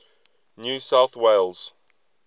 new south wales